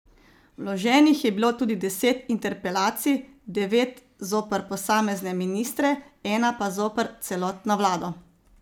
Vloženih je bilo tudi deset interpelacij, devet zoper posamezne ministre, ena pa zoper celotno vlado.